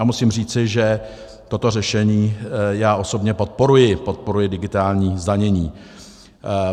A musím říci, že toto řešení já osobně podporuji, podporuji digitální zdanění.